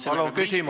Palun küsimus!